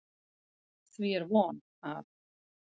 Því er von, að